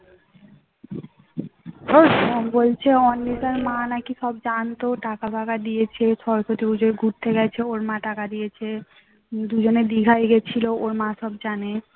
দুজনে দীঘায় গিয়েছিল ওর মা নাকি সব জানে